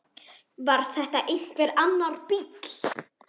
Var þetta einhver annar bíll?